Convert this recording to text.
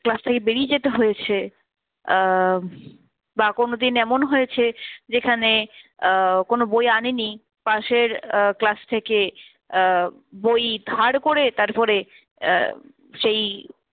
class থেকে বেরিয়ে যেতে হয়েছে, আহ বা কোনদিন এমন হয়েছে যেখানে আহ কোন বই আনিনি পাশের আহ class থেকে আহ বই ধার করে তারপরে আহ সেই